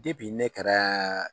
Depi ne kɛra